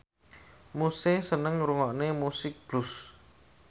Muse seneng ngrungokne musik blues